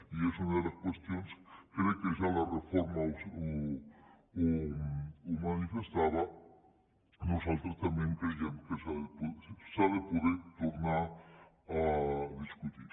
i és una de les qüestions crec que ja en la reforma ho manifestava que nosaltres també creiem que s’ha de poder tornar a discutir